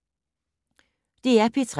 DR P3